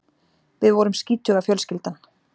Við vorum skítuga fjölskyldan.